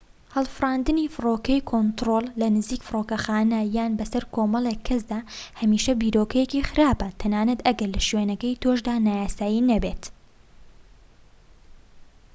هەڵفراندنی فڕۆکەی کۆنترۆل لە نزیك فرۆکەخانە یان بەسەر کۆمەڵێك کەسدا هەمیشە بیرۆکەیەکی خراپە تەنانەت ئەگەر لە شوێنەکەی تۆشدا نایاسایی نەبێت